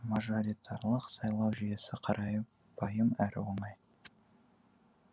мажоритарлық сайлау жүйесі қарапайым әрі оңай